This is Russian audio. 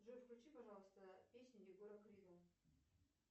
джой включи пожалуйста песню егора крида